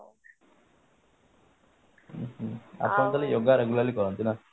ଉଁ ହୁଁ ଆପଣ ତାହେଲେ yoga regularly କରନ୍ତି ନା